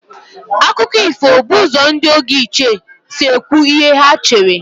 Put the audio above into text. Akụkọ ifo bụ ụzọ ndị oge ochie si ekwu ihe ha chere.